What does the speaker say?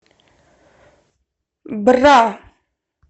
бра